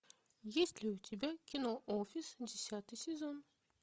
есть ли у тебя кино офис десятый сезон